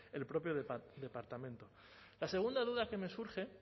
el propio departamento la segunda duda que me surge